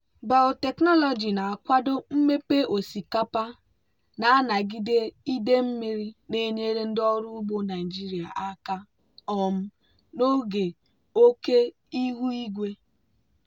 biotechnology na-akwado mmepe osikapa na-anagide ide mmiri na-enyere ndị ọrụ ugbo naijiria aka um n'oge oke ihu igwe.